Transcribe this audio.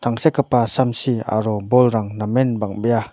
tangsekgipa samsi aro bolrang namen bang·bea.